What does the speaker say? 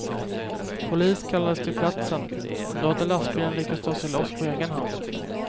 Polis kallades till platsen, men då hade lastbilen lyckats ta sig loss på egen hand.